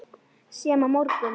Sem á morgun.